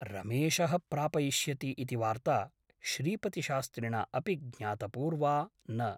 रमेशः प्रापयिष्यति इति वार्ता श्रीपतिशास्त्रिणा अपि ज्ञातपूर्वा न ।